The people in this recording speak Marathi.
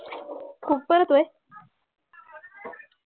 खूप पडतोय